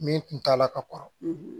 Min kun t'a la ka kɔrɔ